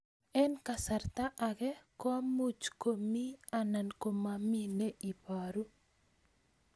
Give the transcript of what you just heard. Eng' kasarta ag'e ko much ko mii anan komamii ne ibaru